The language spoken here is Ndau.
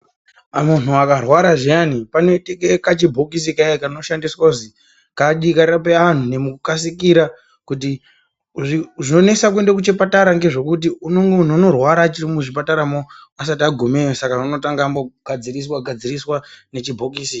Kana munhu akarwara zviyani panoitike kachibhokisi kayea kanoshandiswa kuzi kadii, karape vanhu nekukasika kuti. Zvinonesa kuende kuchipatara ngezvekuti munhu unorwara achiri muzvipataramo asati agumeyo saka unotanga ambogadziriswa-gadziriswa nechibhokisi.